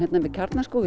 með Kjarnaskóg